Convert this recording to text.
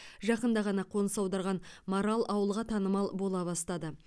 жақында ғана қоныс аударған марал ауылға танымал бола бастады